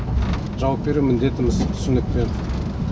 жауап беру міндетіміз түсінікпен